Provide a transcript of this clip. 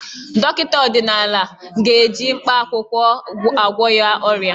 Dọkịta ọdịnala ga-eji mkpaakwụkwọ agwọ ya ọrịa.